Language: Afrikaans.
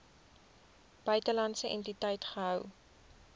buitelandse entiteit gehou